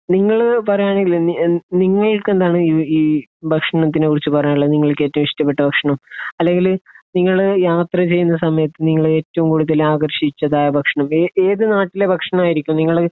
നിങ്ങൾ പറയുകയാണെങ്കിൽ നിങ്ങൾക്ക് എന്താണ് ഈ ഭക്ഷണത്തിനെക്കുറിച്ച് പറയാനുള്ളത്? നിങ്ങൾക്ക് ഏറ്റവും ഇഷ്ടപ്പെട്ട ഭക്ഷണം? അല്ലെങ്കിൽ നിങ്ങൾ യാത്ര ചെയ്യുന്ന സമയത്ത് നിങ്ങളെ ഏറ്റവും കൂടുതൽ ആകർഷിച്ചതായ ഭക്ഷണം, ഏതു നാട്ടിലെ ഭക്ഷണമായിരിക്കും നിങ്ങൾ